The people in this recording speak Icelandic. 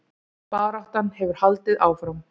Baráttan hefur haldið áfram